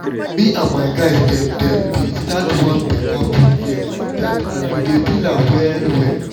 me and my guys dem dem been start one better food game like that and we dey feel am well well